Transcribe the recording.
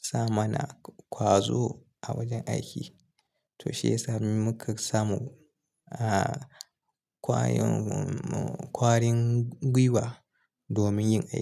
sa mana ƙwazo a wajen aiki to shiyasa muka samu ƙwayoyin ƙwarin gwiwa domin yin aiki.